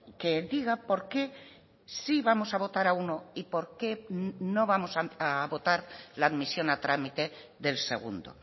que diga por qué sí vamos a votar a uno y por qué no vamos a votar la admisión a trámite del segundo